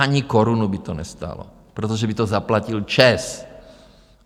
Ani korunu by to nestálo, protože by to zaplatil ČEZ.